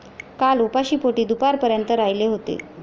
काल उपाशीपोटी दुपारपर्यंत राहिले होते.